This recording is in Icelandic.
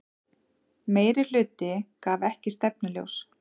Meirihluti gaf ekki stefnuljós